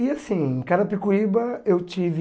E assim, em Carapicuíba, eu tive...